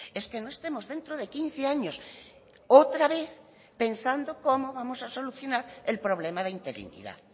es que no estemos dentro de quince años otra vez pensando cómo vamos a solucionar el problema de interinidad